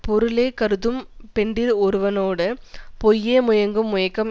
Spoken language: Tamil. பொருளே கருதும் பெண்டிர் ஒருவனோடு பொய்யே முயங்கும் முயக்கம்